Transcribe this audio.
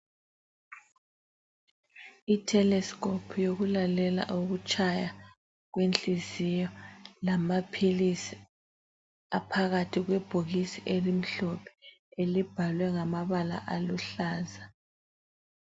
I theleskophu yokulalela ukutshaya kwenhliziyo lamaphilisi aphakathi kwebhokisi elimhlophe elibhalwe ngamabala aluhlaza.